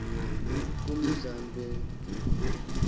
kumdlambe